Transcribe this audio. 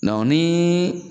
nii